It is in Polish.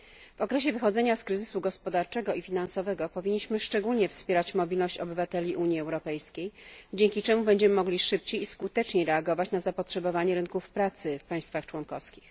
W okresie wychodzenia z kryzysu gospodarczego i finansowego powinniśmy szczególnie wspierać mobilność obywateli Unii Europejskiej, dzięki czemu będziemy mogli szybciej i skuteczniej reagować na zapotrzebowanie rynków pracy w państwach członkowskich.